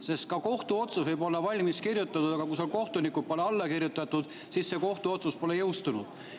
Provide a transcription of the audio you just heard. Sest kohtuotsus võib olla valmis kirjutatud, aga kui kohtunikud pole sellele alla kirjutanud, siis see kohtuotsus ei ole jõustunud.